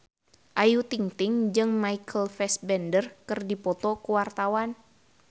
Ayu Ting-ting jeung Michael Fassbender keur dipoto ku wartawan